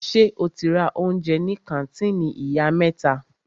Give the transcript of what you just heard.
Ṣe o ti ra oúnjẹ ní kàńtìnì Ìyá mẹ́ta?